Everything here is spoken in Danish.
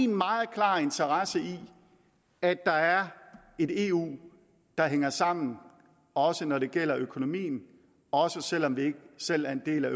meget klar interesse i at der er et eu der hænger sammen også når det gælder økonomien også selv om vi ikke selv er en del af